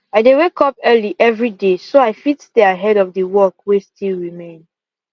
i dey wake up early every day so i fit stay ahead of the work wey still remain